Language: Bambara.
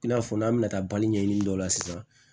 I n'a fɔ n'an bɛna taa bali ɲɛɲini dɔ la sisan